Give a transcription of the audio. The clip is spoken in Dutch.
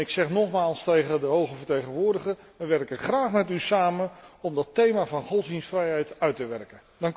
Ik zeg nogmaals tegen de hoge vertegenwoordiger wij werken graag met u samen om dat thema van godsdienstvrijheid uit te werken.